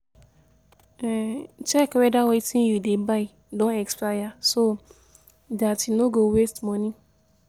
Check weda wetin you dey buy don expire so dat you no go waste money